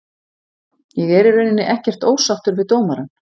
Ég er í rauninni ekkert ósáttur við dómarann.